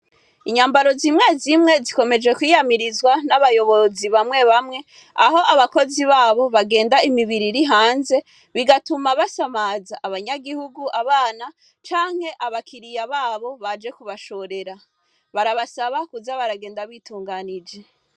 Inyambaro zimwe zimwe zikomejwe kwiyamirizwa n'abayobozi bamwe bamwe, aho abakozi babo bagenda imibiri iri hanze, bigatuma basamaza abanyagihugu, abana canke aba kiriya babo baje kubashorera ,barabasaba kuza baragenda bitunganije.